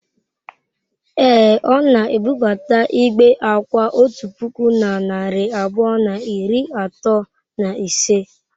Ee, ọ na-ebubata igbe akwa otu puku na narị abụọ na iri atọ na ise.